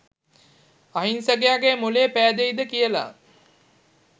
අහිංසකයගෙ මොළේ පෑදෙයිද කියලා